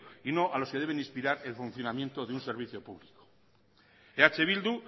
y no a lo que deben inspirar el funcionamiento de un servicio público eh bildu